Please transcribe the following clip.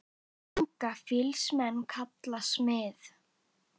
Unga fýls menn kalla smið.